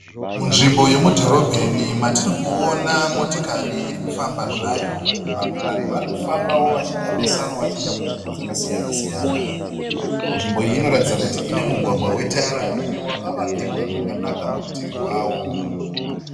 Munzvimbo yemudhorobheni matiri kuona motokari iri kufamba zvayo. Vamwe vanhu vari kufambawo vachiita besanwa vachienda kunzvimbo dzakasiyana siyana. Nzvimbo iyi inoratidza kuti ine mugwagwa wetara uyo wakavakirwa zvakanaka murutivi rwawo.